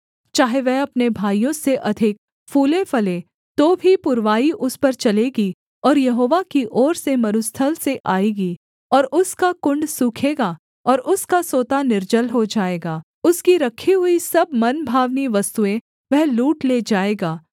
चाहे वह अपने भाइयों से अधिक फूलेफले तो भी पुरवाई उस पर चलेगी और यहोवा की ओर से मरुस्थल से आएगी और उसका कुण्ड सूखेगा और उसका सोता निर्जल हो जाएगा उसकी रखी हुई सब मनभावनी वस्तुएँ वह लूट ले जाएगा